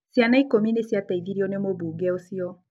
Ciana ikũmi nĩ ciateithirio nĩ mũmbunge ũcio.